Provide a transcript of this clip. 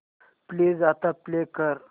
please आता play कर